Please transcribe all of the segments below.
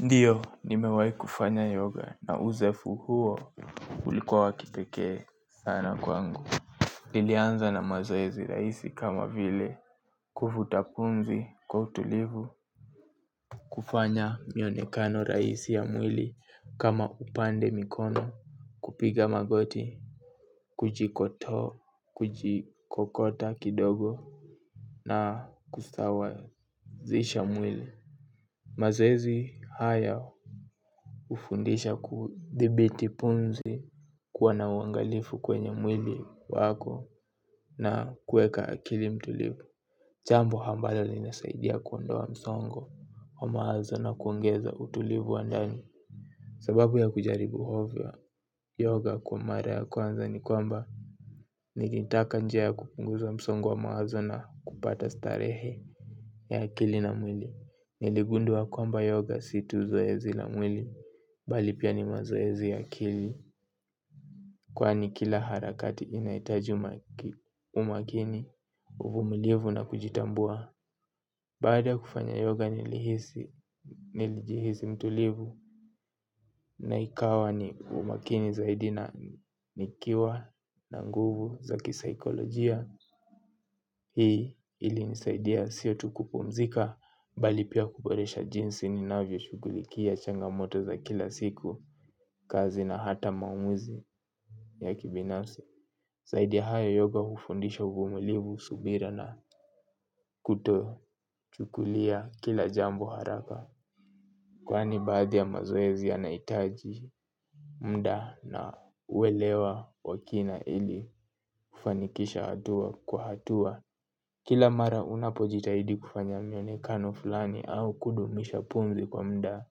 Ndiyo, nimewai kufanya yoga na uzoefu huo ulikua wa kipekee sana kwangu. Nilianza na mazoezi rahisi kama vile kuvuta pumzi kwa utulivu. Kufanya mionekano rahisi ya mwili kama upande mikono kupiga magoti. Kujikoto kujikokota kidogo na kustawa zisha mwili. Mazoezi haya hufundisha kudhibiti pumzi kuwa na uangalifu kwenye mwili wako na kueka akili mtulivu jambo ambalo linasaidia kuondoa msongo wa mawazo na kuongeza utulivu wa ndani sababu ya kujaribu yoga kwa mara ya kwanza ni kwamba nikitaka njia ya kupunguza msongo wa mawazo na kupata starehe ya akili na mwili. Niligundua kwamba yoga si tu zoezi la mwili bal ipia ni mazoezi ya akili. Kwani kila harakati inahitaji umakini. Uvumulivu na kujitambua baada ya kufanya yoga nilihisi nilijihisi mtulivu na ikawa ni umakini zaidi na nikiwa na nguvu za kisaikolojia. Hii ili nisaidia sio tu kupumzika. Bali pia kuboresha jinsi ni navyo shugulikia changamoto za kila siku. Kazi na hata mamuzi ya kibinafsi zaidi ya hayo yoga hufundisho uvumulivu subira na kuto chukulia kila jambo haraka kwani baadhi ya mazoezi yanahitaji muda na uwelewa wakina ili kufanikisha hatua kwa hatua kila mara unapo jitahidi kufanya mionekano fulani au kudumisha pumzi kwa muda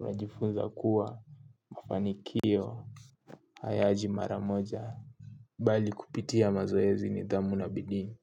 unajifunza kuwa mafanikio hayaji mara moja. Bali kupitia mazoezi nidhamu na bidii.